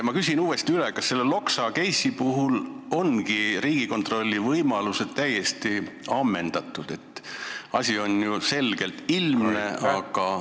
Ma küsin uuesti üle: kas selle Loksa case'i puhul on Riigikontrolli võimalused ikka täiesti ammendatud?